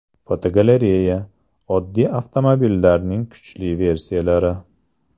Fotogalereya: Oddiy avtomobillarning kuchli versiyalari.